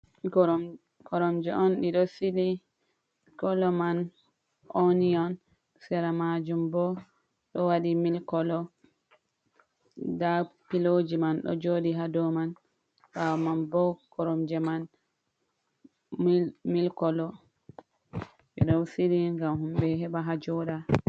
Koromje on ɗiɗo sili, kolo man oniyon sera majum bo ɗo waɗi mil kolo, nda piloji man ɗo joɗi ha dow man ɓawo man bo koromje man mil kolo, ɗiɗon shiryi ngam himɓe heɓa hajoɗa.